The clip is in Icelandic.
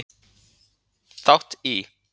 þátt í.